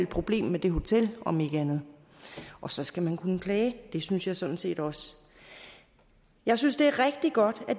problem med det hotel og så skal man kunne klage det synes jeg sådan set også jeg synes det er rigtig godt at